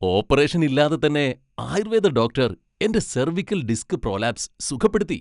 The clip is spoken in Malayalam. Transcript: ഓപ്പറേഷൻ ഇല്ലാതെത്തന്നെ ആയുർവേദ ഡോക്ടർ എന്റെ സെർവിക്കൽ ഡിസ്ക് പ്രോലാപ്സ് സുഖപ്പെടുത്തി.